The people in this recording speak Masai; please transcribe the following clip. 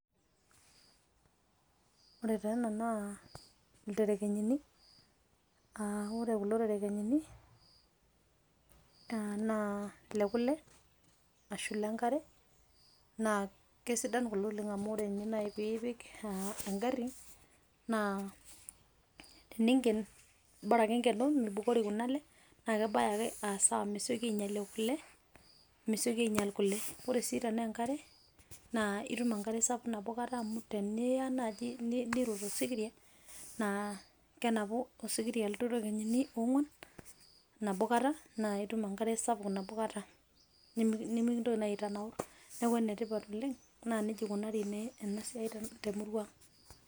Ore taa ea naa ile ilterekenyini a ore taa kulo terekenyini, naa le kule ashu le nkare naa kesidan kulo oleng' amu ore nye nai piipik engari naa teniinken bora ake nkeno mibukori kuna ale naa kebaya ake aa sawa mesikoi ainyalie kule mesioki ainyal kule. Ore sii tenaa enkare naa itum enkare sapuk nabo kata amu teniya naaji nirot esikiria naa kenapu osikiria kulo terekenyini oong'uan nabo kata naa itum enkare sapuk nabo kata, nemikintoki naa itanaur. Neeku ene tipat oleng' naa neija eikunari ena siai te murua aang'.